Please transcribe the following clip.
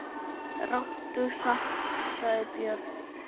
Ráddu samt, sagði Björn.